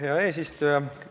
Hea eesistuja!